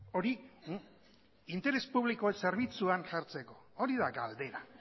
hori interes publikoen zerbitzuan jartzeko hori da galdera